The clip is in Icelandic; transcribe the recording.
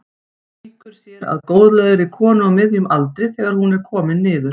Víkur sér að góðlegri konu á miðjum aldri þegar hún er komin niður.